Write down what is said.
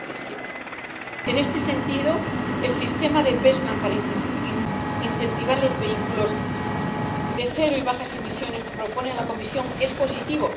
2017. En este sentido, el sistema para incentivar los vehículos de cero y bajas emisiones que propone la Comisión es positivo.